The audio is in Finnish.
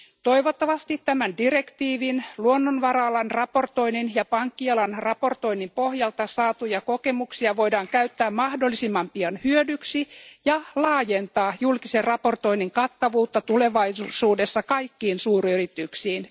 Toivottavasti tämän direktiivin, luonnonvara alan raportoinnin ja pankkialan raportoinnin pohjalta saatuja kokemuksia voidaan käyttää mahdollisimman pian hyödyksi ja laajentaa julkisen raportoinnin kattavuutta tulevaisuudessa kaikkiin suuryrityksiin.